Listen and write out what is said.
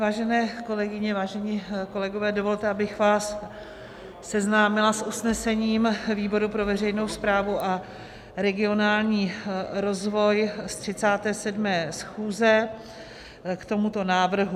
Vážené kolegyně, vážení kolegové, dovolte, abych vás seznámila s usnesením výboru pro veřejnou správu a regionální rozvoj ze 37. schůze k tomuto návrhu.